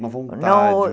Uma vontade